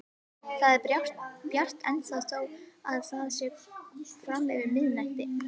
Það er bjart ennþá þó að komið sé fram yfir miðnætti.